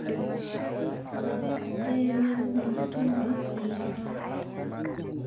dabeecadee nick mutuma ciyaara?